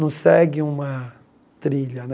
Não segue uma trilha né.